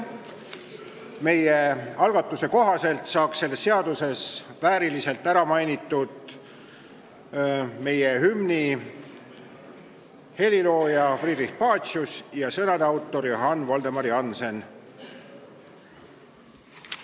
Meie algatuse kohaselt saaks selles seaduses vääriliselt ära mainitud meie hümni helilooja Friedrich Pacius ja sõnade autor Johann Voldemar Jannsen.